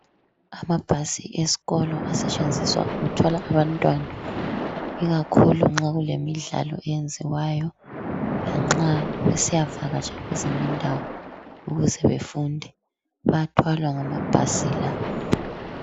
Amabhasi esikolo asetshenziswa ukuthwala abantwana ikakhulu nxa kulemidlalo eyenziwayo lanxa besiyavakatsha kwezinye indawo ukuze befunde. Bayathwalwa ngamabhasi la.